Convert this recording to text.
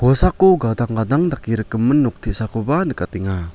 kosako gadang gadang dake rikgimin nok te·sakoba nikatenga.